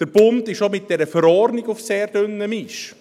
Der Bund ist auch mit dieser Verordnung auf sehr dünnem Eis.